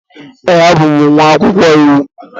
Ee, abụ m nwa akwụkwọ iwu.